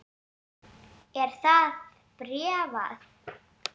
Er það bréfað?